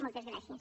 moltes gràcies